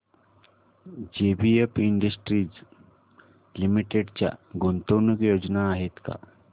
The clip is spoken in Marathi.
जेबीएफ इंडस्ट्रीज लिमिटेड च्या गुंतवणूक योजना आहेत का